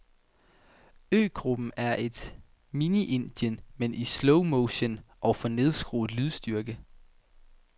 Øgruppen er et mini Indien, men i slowmotion og for nedskruet lydstyrke.